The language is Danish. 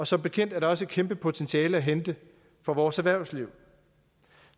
som bekendt er der også et kæmpe potentiale at hente for vores erhvervsliv